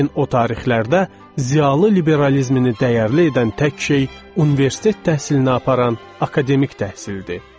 Lakin o tarixlərdə ziyaılı liberalizmini dəyərli edən tək şey universitet təhsilinə aparan akademik təhsildir.